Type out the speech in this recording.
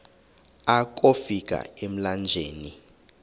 akofi ka emlanjeni